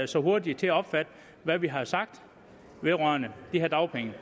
så hurtige til at opfatte hvad vi har sagt vedrørende de her dagpenge